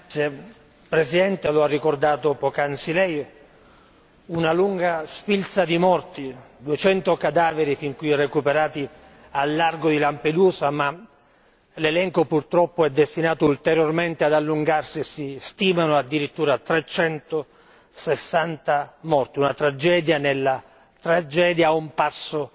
Signor Presidente, onorevoli colleghi, lo ha ricordato poc'anzi Lei, una lunga sfilza di morti 200 cadaveri fin qui recuperati al largo di Lampedusa, ma l'elenco purtroppo è destinato ulteriormente ad allungarsi e si stimano addirittura 360 morti, una tragedia nella tragedia, a un passo